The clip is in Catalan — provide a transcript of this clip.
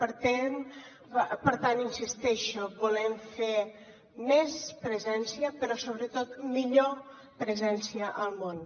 per tant hi insisteixo volem fer més presència però sobretot millor presència al món